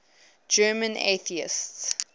german atheists